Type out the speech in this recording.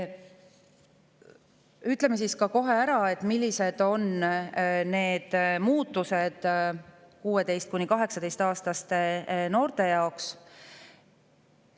Ütlen ka kohe ära, millised on muutused 16–18-aastaste noorte jaoks.